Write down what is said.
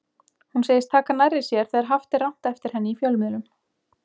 Hún segist taka nærri sér þegar haft er rangt eftir henni í fjölmiðlum.